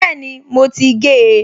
Bẹ́ẹ̀ni, mo ti gé e